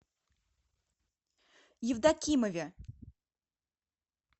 евдокимове